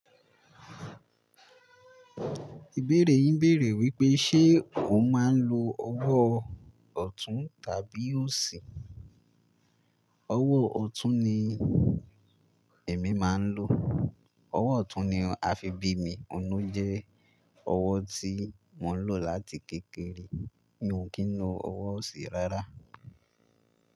Ìbéèrè yín bèèrè wípé, ṣe o máa ń lo owó ọ̀tún tàbí òsì? Owó ọ̀tún ni èmi máa ń lò. Owó ọ̀tún ni a fi bí mi. Òun ló jẹ́ owó tí mo ń lò láti kékeré. Mi ò kí ń lo owó òsì rárá.